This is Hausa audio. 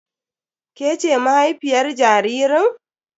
Ke ce mahaifiyar jaririn?